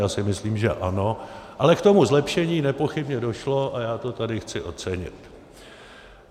Já si myslím, že ano, ale k tomu zlepšení nepochybně došlo a já to tady chci ocenit.